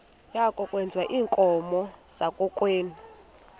yakokwethu iinkomo zakokwethu